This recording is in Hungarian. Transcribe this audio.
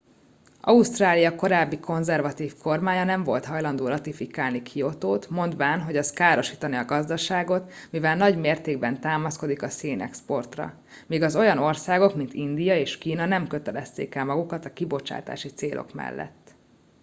ausztrália korábbi konzervatív kormánya nem volt hajlandó ratifikálni kiotót mondván hogy az károsítaná a gazdaságot mivel nagy mértékben támaszkodik a szénexportra míg az olyan országok mint india és kína nem kötelezték el magukat a kibocsátási célok mellett